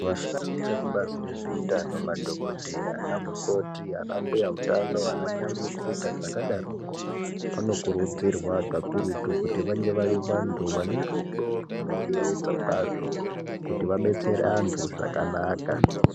Vashandi vezvekubazi rezveutano madhogodheya ana mukoti, anambya utano ananyamukuta zvakadaroko. Vanokurudzirwa kuti vave vantu vanerudo rwunoyevedza kwazvo, kuti vadetsere vantu zvakanaka.